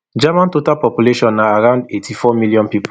germany total population na around eighty-four million pipo